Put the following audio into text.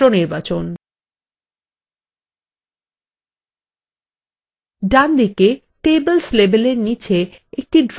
ডানদিকে tables labelএর নীচে একটি drop down box দেখা যাচ্ছে